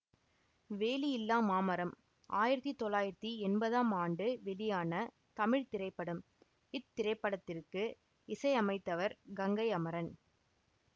வேலியில்லா மாமரம் ஆயிரத்தி தொள்ளாயிரத்தி எம்பதாம் ஆண்டு வெளியான தமிழ் திரைப்படம் இத்திரைப்படத்திற்கு இசையமைத்தவர் கங்கை அமரன்